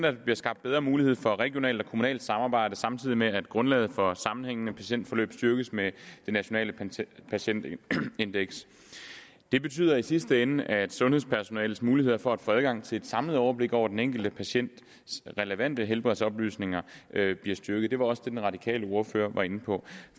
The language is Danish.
at der bliver skabt bedre mulighed for regionalt og kommunalt samarbejde samtidig med at grundlaget for sammenhængende patientforløb styrkes med nationalt patientindeks det betyder i sidste ende at sundhedspersonalets muligheder for at få adgang til et samlet overblik over den enkelte patients relevante helbredsoplysninger bliver styrket det var også det den radikale ordfører var inde på